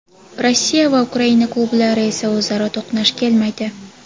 Rossiya va Ukraina klublari esa o‘zaro to‘qnash kelmaydi.